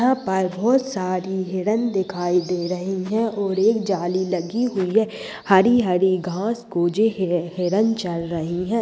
यहाँ पर बहुत सारी हिरण दिखाई दे रहें हैं और एक जाली लगी हुई है हरी-हरी घास को जो ह हिरण चल रही है।